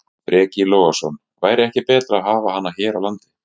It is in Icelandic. Breki Logason: Væri ekki betra að hafa hana hér á landi?